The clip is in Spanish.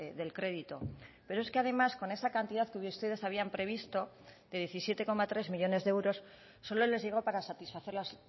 del crédito pero es que además con esa cantidad que ustedes habían previsto de diecisiete coma tres millónes de euros solo les llegó para satisfacer las